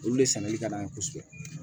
Olu de sɛnɛli ka d'an ye kosɛbɛ